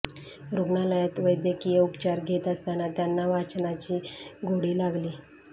रुग्णालयात चैद्यकीय उपचार घेत असताना त्यांना वाचनाची गोडी लागली